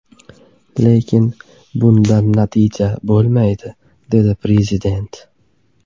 Lekin bundan natija bo‘lmaydi”, dedi Prezident.